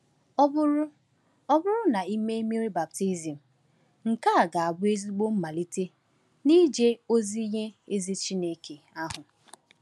Ọ bụrụ Ọ bụrụ na i mee mmiri baptizim, nke a ga-abụ ezigbo mmalite n’ije ozi nye ezi Chineke ahụ.